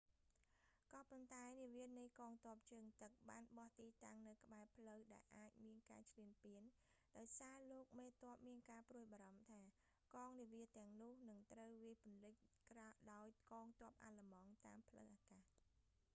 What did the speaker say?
ក៏ប៉ុន្តែ នាវានៃកង់ទ័ពជើងទឹកបានបោះទីតាំងនៅក្បែរផ្លូវដែលអាចមានការឈ្លានពាន ដោយសារលោកមេទ័ពមានការព្រួយបារម្ភថា កងនាវាទាំងនោះនឹងត្រូវវាយពន្លិចដោយកងទ័ពអាល្លឺម៉ង់តាមផ្លូវអាកាស